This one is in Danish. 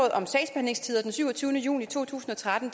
den syvogtyvende juni to tusind og tretten